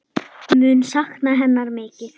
Mun sakna hennar mikið.